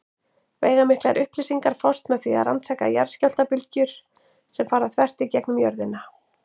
Veigamiklar upplýsingar fást með því að rannsaka jarðskjálftabylgjur sem fara þvert í gegnum jörðina.